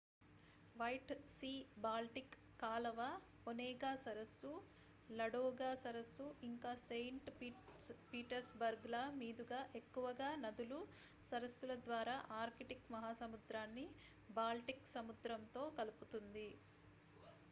white sea-baltic కాలవ onega సరస్సు ladoga సరస్సు ఇంకా saint petersburgల మీదుగా ఎక్కువగా నదులు సరస్సుల ద్వారా arctic మహాసముద్రాన్ని baltic సముద్రంతో కలుపుతుంది